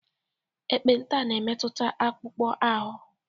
ekpenta na-emetụta akpụkpọ ahụ